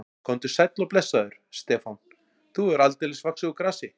Komdu sæll og blessaður, Stefán, þú hefur aldeilis vaxið úr grasi.